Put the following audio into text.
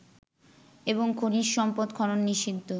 এবং খনিজ সম্পদ খনন নিষিদ্ধ